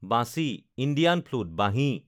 Vanchi (Indian flute) Banhi